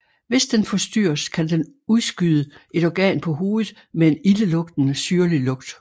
Hvis den forstyrres kan den udskyde et organ på hovedet med en ildelugtende syrlig lugt